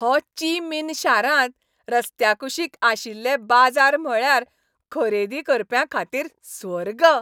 हो Chi Minh शारांत रस्त्याकुशीक आशिल्ले बाजार म्हळ्यार खरेदी करप्यांखातीर स्वर्ग..